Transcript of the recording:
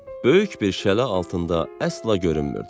Böyük bir şələ altında əsla görünmürdü.